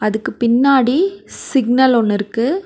அதுக்கு பின்னாடி சிக்னல் ஒன்னு இருக்கு.